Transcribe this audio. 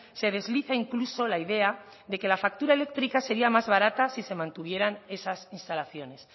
se desliza incluso la idea de que la factura eléctrica sería más barata si se mantuvieran esas instalaciones